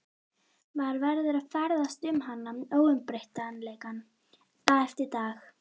Maður verður að ferðast um hana, óumbreytanleikann, dag eftir dag.